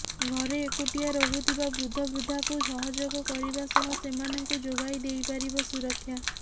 ଘରେ ଏକୁଟିଆ ରହୁଥିବା ବୃଦ୍ଧବୃଦ୍ଧାକୁ ସହଯୋଗ କରିବା ସହ ସେମାନଙ୍କୁ ଯୋଗଇ ଦେଇପାରିବ ସୁରକ୍ଷା